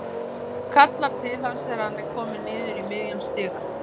Kallar til hans þegar hann er kominn niður í miðjan stigann.